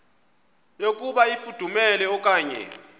yokuba ifudumele okanye